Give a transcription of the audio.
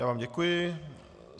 Já vám děkuji.